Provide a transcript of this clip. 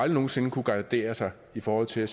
nogen sinde gardere sig i forhold til at